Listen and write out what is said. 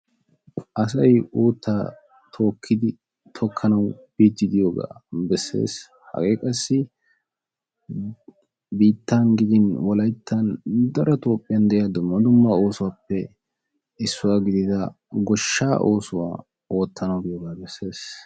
assay uuttaa tookidi tokkanaw biidi de"iyogee beettessi hage qassi nu biitan gidin dumma dumma daro toophian de"ia goshsha oosuwappe issuwa gidiyoga bessesi.